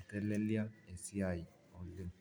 itelelia esiai oleng